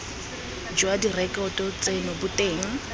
jwa direkoto tseno bo teng